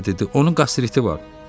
Vale dedi, onun qastriti var.